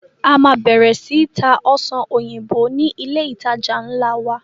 A máa bẹ̀rẹ̀ sii tá Ọsàn òyìnbó ni ilé ìtajà nla wa.